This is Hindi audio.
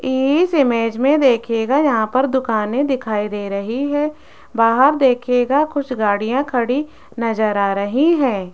इस इमेज में देखिएगा यहां पर दुकाने दिखाई दे रही है बाहर देखेगा कुछ गाड़ियां खड़ी नजर आ रही है।